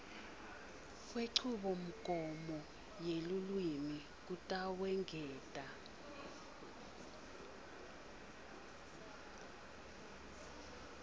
kwenchubomgomo yelulwimi kutawungeta